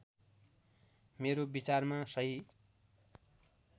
मेरो विचारमा सहि